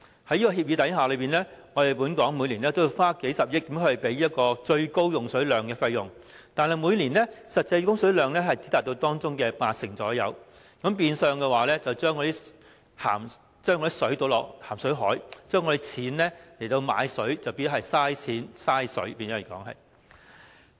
在這協議下，本港每年均要花數十億元來支付最高供水量的費用，但每年實際供水量只達到當中約八成，變相將食水倒進鹹水海，香港用以購買食水的錢便浪費了，等同浪費金錢、浪費食水。